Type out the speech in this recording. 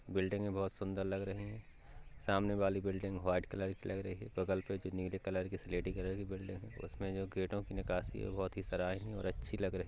बिल्डिंगे बोहोत सुंदर लग रही है। सामने वाली बिल्डिंग व्हाइट कलर की लग रही है बगल पे जो नीली कलर की स्लेटी कलर कि जो बिल्डिंग है उसमे जो गेटो की नकाशी है बोहोत ही सराहनीय और अच्छी लग रही --